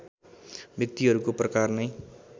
व्यक्तिहरूको प्रकार नै